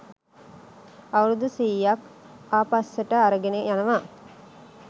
අවුරුදු සීයක් ආපස්සට අරගෙන යනවා.